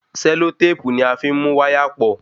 Sẹlotépù ni a fí n mú wáyà pọ̀